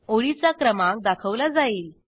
ओळीचा क्रमांक दाखवला जाईल